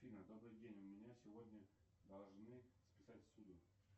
афина добрый день у меня сегодня должны списать ссуду